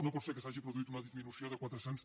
no pot ser que s’hagi produït una disminució de quatre·cents